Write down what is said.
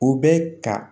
U bɛ ka